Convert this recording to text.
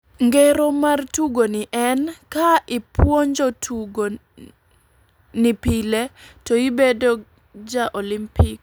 Ngero mar tugo ni en, ka ipwonjo tugo ni pile to ibedo ja olimpik.